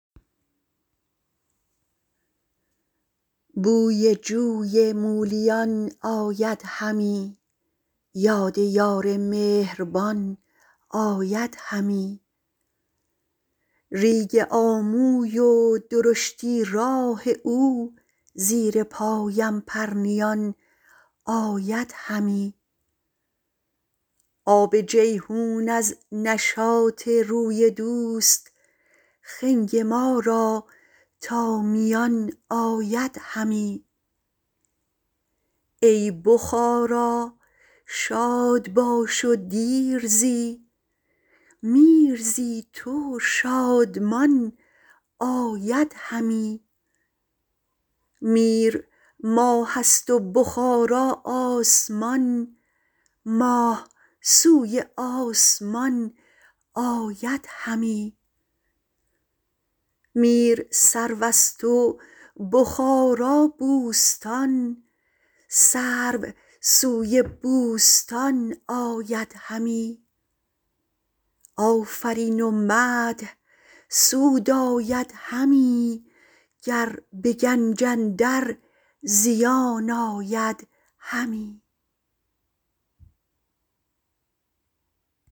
بوی جوی مولیان آید همی یاد یار مهربان آید همی ریگ آموی و درشتی های او زیر پایم پرنیان آید همی آب جیحون از نشاط روی دوست خنگ ما را تا میان آید همی ای بخارا شاد باش و دیر زی میر زی تو شادمان آید همی میر ماه است و بخارا آسمان ماه سوی آسمان آید همی میر سرو است و بخارا بوستان سرو سوی بوستان آید همی آفرین و مدح سود آید همی گر به گنج اندر زیان آید همی